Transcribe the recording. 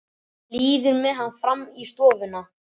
Líður með hann fram í stofuna.